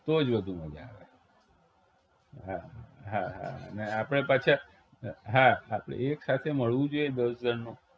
તો જ વધુ મજા આવે હા હા હા અને આપણે પાછા હા હા એકસાથે મળવું જોઈએ દસ જણનો